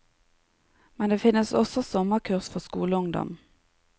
Men det finnes også sommerkurs for skoleungdom.